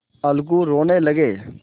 अलगू रोने लगे